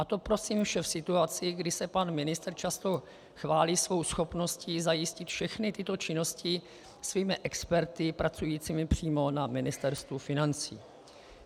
A to prosím vše v situaci, kdy se pan ministr často chválí svou schopností zajistit všechny tyto činnosti svými experty, pracujícími přímo na Ministerstvu financí.